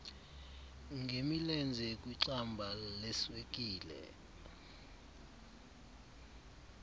ngemilenze kwixamba leswekile